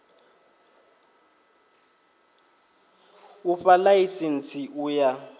u fha ḽaisentsi u ya